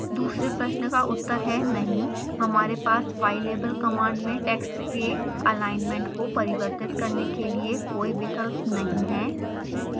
दूसरे प्रश्न का उत्तर है नहीं हमारे पास ylabel कमांड में टेक्स्ट के alignment को परिवर्तित करने के लिए कोई विकल्प नहीं है